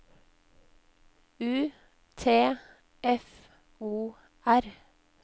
U T F O R